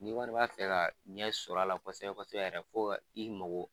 Ni kɔni b'a fɛ ka ɲɛ sɔrɔla kosɛbɛ yɛrɛ fo ka i mago